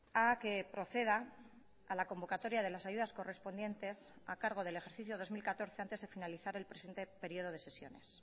a que proceda a la convocatoria de las ayudas correspondientes a cargo del ejercicio dos mil catorce antes de finalizar el presente período de sesiones